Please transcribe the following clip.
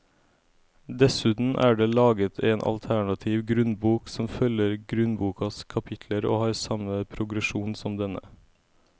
Dessuten er det laget en alternativ grunnbok som følger grunnbokas kapitler og har samme progresjon som denne.